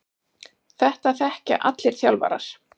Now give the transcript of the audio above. Þetta þekkja allir þjálfarar.